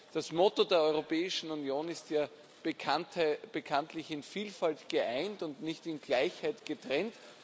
Das Motto der Europäischen Union ist ja bekanntlich In Vielfalt geeint und nicht In Gleichheit getrennt.